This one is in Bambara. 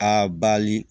A bali